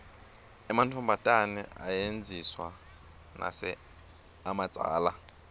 ematfombatane ayedziswa nase amadzala